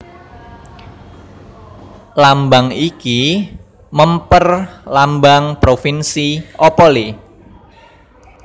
Lambang iki mèmper Lambang Provinsi Opole